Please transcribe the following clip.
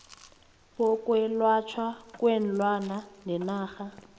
bokwelatjhwa kweenlwana benarha